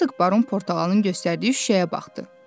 Hersoq Baron Portağalın göstərdiyi şüşəyə baxdı.